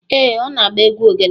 Ee, ọ na-agba egwu ogene.